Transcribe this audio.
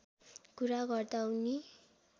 कुरा गर्दा उनी